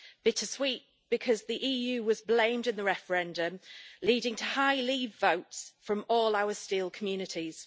Bittersweet, because the EU was blamed in the referendum, leading to high leave votes from all our steel communities.